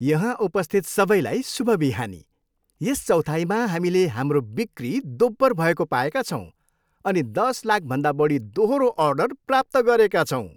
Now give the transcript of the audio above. यहाँ उपस्थित सबैलाई शुभ बिहानी। यस चौथाइमा हामीले हाम्रो बिक्री दोब्बर भएको पाएका छौँ अनि दस लाखभन्दा बढी दोहोरो अर्डर प्राप्त गरेका छौँ।